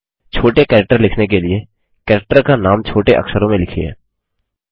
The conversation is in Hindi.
छोटे कैरेक्टर लिखने के लिए कैरेक्टर का नाम छोटे अक्षरों में लिखिए